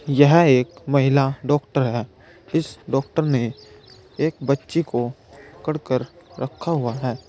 यह एक महिला डॉक्टर है इस डॉक्टर ने एक बच्ची को पकड़ कर रखा हुआ है।